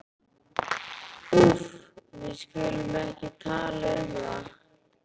Úff, við skulum ekki tala um það.